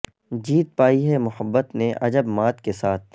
جیت پائی ہے محبت نے عجب مات کے ساتھ